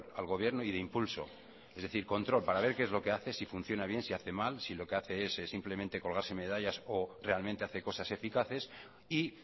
al gobierno y de impulso es decir control para ver qué es lo que haces si funciona bien si hace mal si lo que hace es simplemente colgarse medallas o realmente hace cosas eficaces y